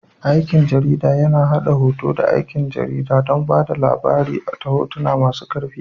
Aikin jarida yAna haɗa ɗaukar hoto da aikin jarida don ba da labari ta hotuna masu ƙarfi